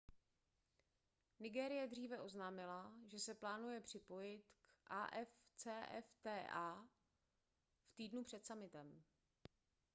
nigérie dříve oznámila že se plánuje připojit k afcfta v týdnu před summitem